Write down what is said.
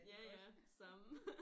Ja ja samme